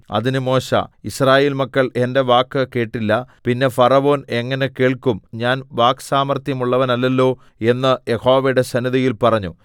അതിന് മോശെ യിസ്രായേൽ മക്കൾ എന്റെ വാക്ക് കേട്ടില്ല പിന്നെ ഫറവോൻ എങ്ങനെ കേൾക്കും ഞാൻ വാക്സാമർത്ഥ്യമുള്ളവനല്ലല്ലോ എന്ന് യഹോവയുടെ സന്നിധിയിൽ പറഞ്ഞു